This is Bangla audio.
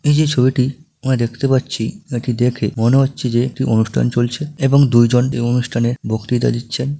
এই যে ছবিটি আমি দেখতে পাচ্ছি এটি দেখে মনে হচ্ছে যে একটি অনুষ্ঠান চলছে। এবং দুইজন এই অনুষ্ঠানের বক্তিতা দিচ্ছেন ।